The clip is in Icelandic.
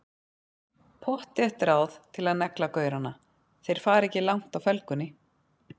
Pottþétt ráð til að negla gaurana, þeir fara ekki langt á felgunni!